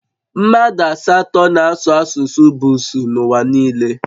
Mmadụ asatọ na-asụ asụsụ Busuu n'ụwa niile